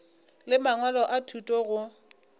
le mangwalo a thuto go